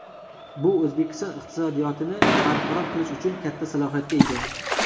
Bu O‘zbekiston iqtisodiyotini barqaror qilish uchun katta salohiyatga ega.